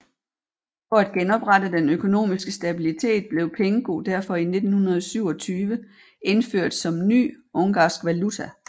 For at genoprette den økonomiske stabilitet blev pengő derfor i 1927 indført som ny ungarsk valuta